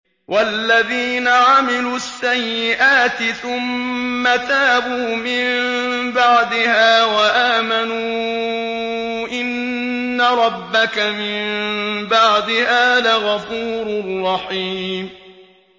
وَالَّذِينَ عَمِلُوا السَّيِّئَاتِ ثُمَّ تَابُوا مِن بَعْدِهَا وَآمَنُوا إِنَّ رَبَّكَ مِن بَعْدِهَا لَغَفُورٌ رَّحِيمٌ